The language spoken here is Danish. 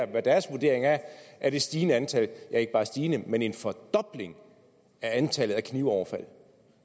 hvad deres vurdering er af det stigende antal ja ikke bare stigende men en fordobling af antallet af knivoverfald